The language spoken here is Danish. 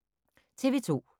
TV 2